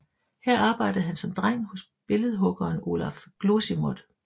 Her arbejdede han som dreng hos billedhuggeren Olaf Glosimodt